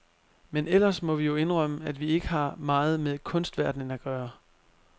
Men ellers må vi jo indrømme, at vi ikke har meget med kunstverdenen at gøre.